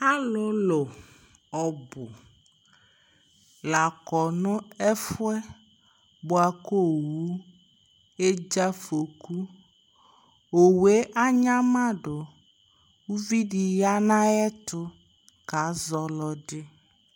alolo ɔbo la kɔ no ɛfuɛ boa ko owu edze afɔku owue anyamado uvi di ya no ayɛto ka zɔ ɔlɔdi